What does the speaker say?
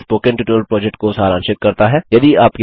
जो spoken tutorial project को सारांशित करता है